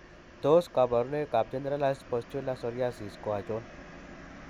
Tos kabarunoik ab Generalized pustular psoriasis ko achon?